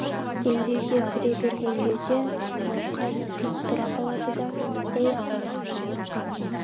енді үйге кіре берген кезде мауқай кілт тұра қалады да ей абай